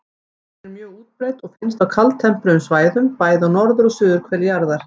Tegundin er mjög útbreidd og finnst á kaldtempruðum svæðum, bæði á norður- og suðurhveli jarðar.